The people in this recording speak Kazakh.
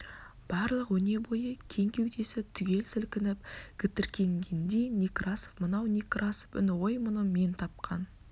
барлық өне бойы кең кеудесі түгел сілкініп гітіркенгендей некрасов мынау некрасов үні ғой бұны мен тапқан